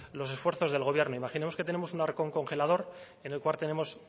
los esfuerzos del gobierno imaginemos que tenemos un arcón congelador en el cual tenemos